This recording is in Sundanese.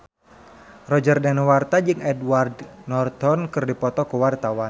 Roger Danuarta jeung Edward Norton keur dipoto ku wartawan